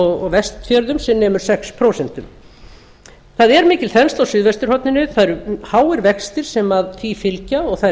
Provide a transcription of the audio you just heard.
og vestfjörðum sem nemur sex prósent það er mikil þensla á suðvesturhorninu það eru háir vextir sem því fylgja og það er